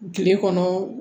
Kile kɔnɔ